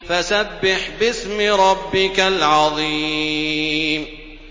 فَسَبِّحْ بِاسْمِ رَبِّكَ الْعَظِيمِ